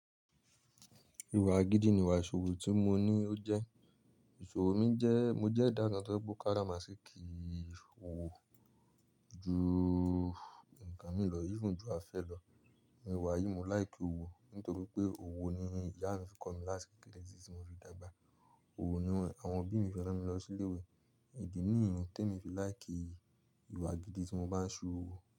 Ìwà gidi ni ìwà ìṣòro tí mo ní ó jẹ́. Ìṣòro mi jẹ́, mo jẹ́ ìdákẹ́jẹ́ tó gbó kára máṣe kí òwò ju nǹkan mi lọ, bí i ju afẹ́ lọ. Mo wà yìí mo láì kí òwò nítorí pé òwò ni ìyá mi fi kọ́ mi láṣẹ kìkùn ẹlẹ́sìn tí mo fi dàgbà. Òwò ni àwọn òbí mi fẹ́ràn mi lọ sí ilé ìwé. Ìdí nìyí tí mo fi láì kí ìwà gidi tí mo bá ń ṣe òwò.